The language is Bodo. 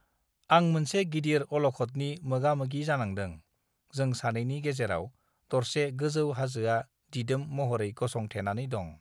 आं मोनसे गिदिर अलखतनि मोगामोगि जानांदों जों सानैनि गेजेराउ दरसे गोजौ हाजोआ दिदोम महरै गसं थेनानै दं